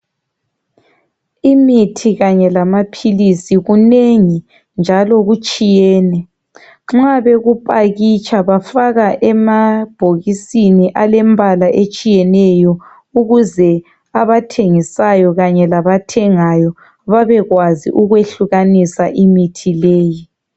Imithi kanye lamaphilisi kunengi njalo kutshiyene , nxa bekupakitsha bafaka emabhokisini alembala etshiyeneyo ukuze abathengisayo labathengayo babekwazi ukwehlukanisa imithi leyi